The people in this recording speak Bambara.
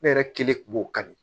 Ne yɛrɛ kelen kun b'o kan de